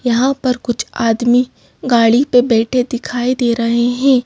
यहां पर कुछ आदमी गाड़ी पे बैठे दिखाई दे रहे हैं।